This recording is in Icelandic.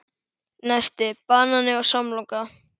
Nesti: Banani og samloka